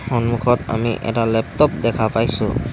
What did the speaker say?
সন্মুখত আমি এটা লেপটপ দেখা পাইছোঁ।